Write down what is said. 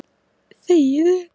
Ekki nóg.